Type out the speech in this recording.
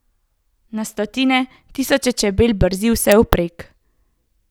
Na stotine, tisoče čebel brzi vsevprek.